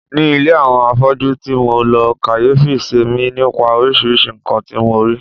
Ní ilé àwọn afọ́jú ti mo lọ, kàyéfì semi nípa oríṣiríṣi nǹkan tí mo rí.